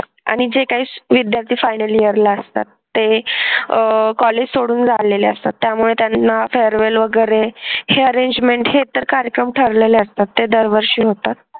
आणि जे काही विद्यार्थी final year ला असतात ते अह कॉलेज सोडून झालेले असतात त्यामुळे त्यांना farewell वगैरे हे arrangement हे तर कार्यक्रम ठरलेले असतात ते दरवर्षी होतात.